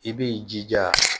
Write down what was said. I b'i jija